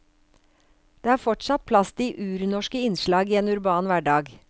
Det er fortsatt plass til urnorske innslag i en urban hverdag.